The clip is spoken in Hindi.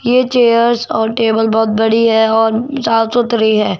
ये चेयर्स और टेबल बहोत बड़ी है और साफ सुथरी है।